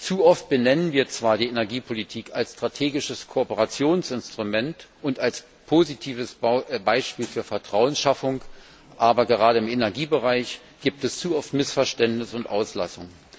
Zu oft benennen wir zwar die Energiepolitik als strategisches Kooperationsinstrument und als positives Beispiel für Vertrauensschaffung, aber gerade im Energiebereich gibt es zu oft Missverständnis und Auslassung.